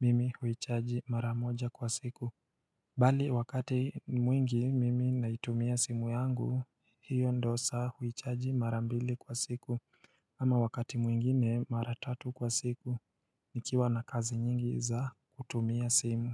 mimi huichaji maramoja kwa siku Bali wakati mwingi mimi naitumia simu yangu, hiyo ndo saa huichaji marambili kwa siku Ama wakati mwingine maratatu kwa siku, nikiwa na kazi nyingi za kutumia simu.